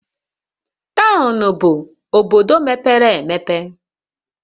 Townu bụ obodo mepere emepe